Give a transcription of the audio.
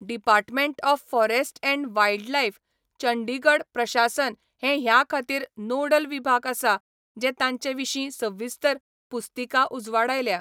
Department of forest and wildlife Chandigarh प्रशासन हें ह्या खातीर नोडल विभाग आसा जें ताचे विशीं सविस्तर पुस्तिका उजवाडायल्या.